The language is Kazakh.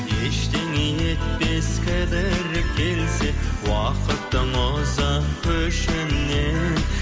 ештеңе етпес кідіріп келсе уақытың ұзақ көршіңнен